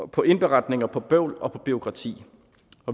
på indberetninger på bøvl og på bureaukrati